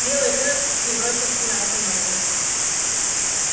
белый клык не бросился на эту ногу